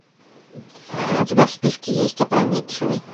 у тебя в списке есть опрометчивый